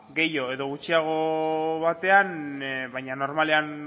gehiago edo gutxiago batean baina normalean